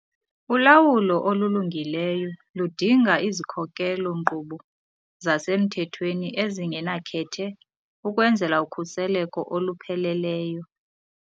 Ulawulo olulungileyo ludinga izikhokelo-nkqubo zasemthethweni ezingenakhethe ukwenzela ukhuselo olupheleleyo.